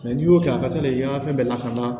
n'i y'o kɛ a ka taa n'i ye an ka fɛn bɛɛ lakana